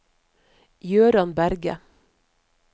Gøran Berget